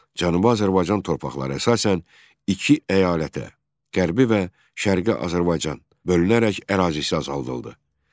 Cənubi Azərbaycan torpaqları əsasən iki əyalətə, Qərbi və Şərqi Azərbaycan bölünərək ərazisi azaldıldı.